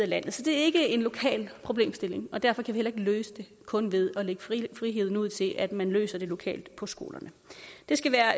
landet så det er ikke en lokal problemstilling og derfor kan vi heller løse det kun ved at lægge friheden ud til at man løser det lokalt på skolerne det skal være